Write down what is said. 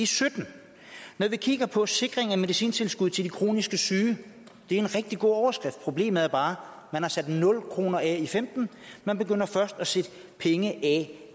sytten når vi kigger på sikringen af medicintilskuddet til de kronisk syge er det en rigtig god overskrift men problemet er bare at man har sat nul kroner af i femten man begynder først at sætte penge af